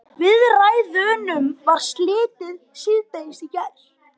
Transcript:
Viðræðunum var slitið síðdegis í gær